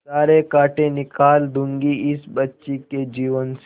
सारे कांटा निकाल दूंगी इस बच्ची के जीवन से